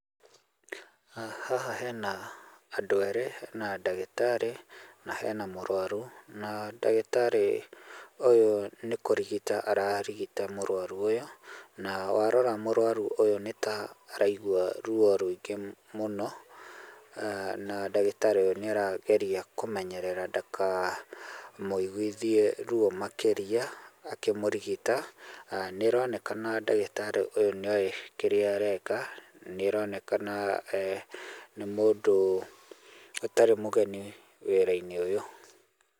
Haha hena andũ erĩ na ndagĩtarĩ na hena mũrũaru, na ndagĩtarĩ ũyũ nĩ kũrigita ararigita mũrwaru ũyũ. Na warora mũrwaru ũyũ nĩ ta araigua ruo rũingĩ mũno na ndagĩtarĩ ũyũ nĩarageria kũmenyerera ndaka mũiguithie ruo makĩria, akĩmũrigita. Nĩĩronekana ndagĩtarĩ ũyũ nĩoĩ kĩrĩa areka, nĩĩronekana nĩ mũndũ ũtarĩ mũgeni wĩra-inĩ ũyũ.